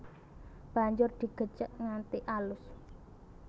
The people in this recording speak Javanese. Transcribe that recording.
Banjur digecek nganti alus